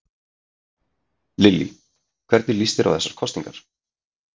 Lillý: Hvernig líst þér á þessar kosningar?